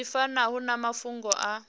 zwi fanaho na mafhungo a